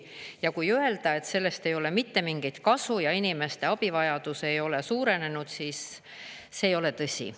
Ja kui öelda, et sellest ei ole mitte mingit kasu ja inimeste abivajadus ei ole suurenenud, siis see ei ole tõsi.